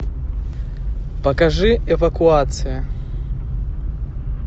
покажи эвакуация